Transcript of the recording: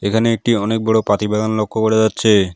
এখানে একটি অনেক বড় পাতি বাগান লক্ষ্য করা যাচ্ছে।